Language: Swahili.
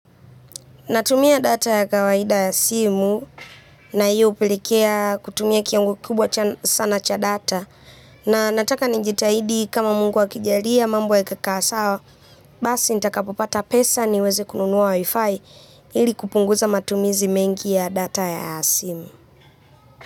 Natumia data ya kawaida ya simu na hii hupelekea kutumia kiwango kikubwa sana cha data. Na nataka nijitahidi, kama Mungu akijalia mambo yakikaa sawa, basi nikipata pesa niweze kununua wi-fi ili kupunguza matumizi mengi ya data ya simu.